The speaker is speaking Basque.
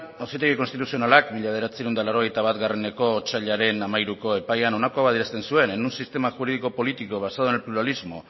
auzitegi konstituzionalak mila bederatziehun eta laurogeita batgarrena otsailaren hamairuko epaian honako hau adierazten zuen en un sistema jurídico político basado en el pluralismo